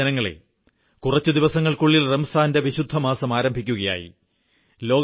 പ്രിയപ്പെട്ട ജനങ്ങളേ കുറച്ചു ദിവസങ്ങൾക്കുള്ളിൽ വിശുദ്ധ റംസാൻ മാസം ആരംഭിക്കുകയായി